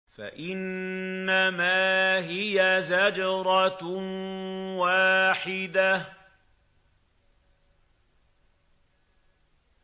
فَإِنَّمَا هِيَ زَجْرَةٌ وَاحِدَةٌ